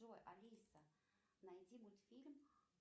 джой алиса найди мультфильм